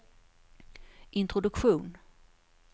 introduktion